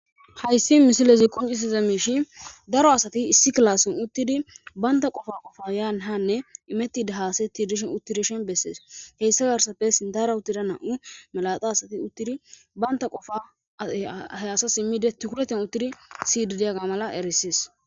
Hayssi misilezi qoncisiza miishi daro asati issi klaasson uttidi baynta qofa qofa yaan hanne imettida haasatti dishen uttidishen bessees heyssa garsappe sindara uttida na7u malaxa asati uttidi banta qofa hayasa simmide tukureten uttidi sididiyaga mala eressees.